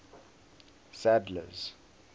sadler's